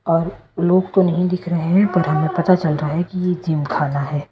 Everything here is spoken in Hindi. और लोग तो नहीं दिख रहे हैं पर हमें पता चल रहा है कि ये जिमखाना है।